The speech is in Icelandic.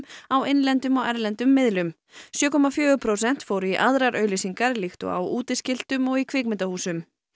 á innlendum og erlendum miðlum sjö komma fjögur prósent fóru í aðrar auglýsingar líkt og á útiskiltum og í kvikmyndahúsum